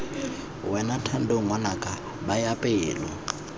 wena thando ngwanaka baya pelo